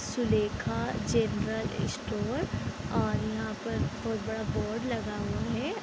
Sulekha general store और यहाँ पर बोहोत बड़ा बोर्ड लगा हुआ है ।